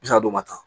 N'a d'o ma tan